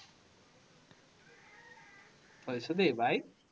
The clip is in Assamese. থৈছো দেই, bye